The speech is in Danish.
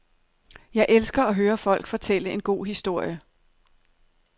Jeg elsker at høre folk fortælle en god historie.